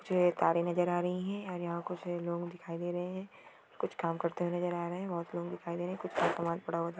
जो ये तारे नजर आ रही हैं और यहाँ कुछ लोग दिखाई दे रहे हैं कुछ काम करते हुए नजर आ रहे हैं बहोत लोग दिखाई दे रहे हैं कुछ --